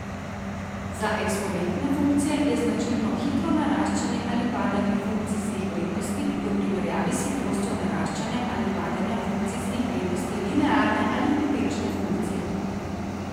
Za eksponente funkcije je značilno hitro naraščanje ali padanje funkcijskih vrednosti v primerjavi s hitrostjo naraščanja ali padanja funkcijskih vrednosti linearne ali potenčne funkcije.